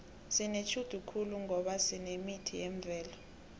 sinetjhudu khulu ngoba sinemithi yemvelo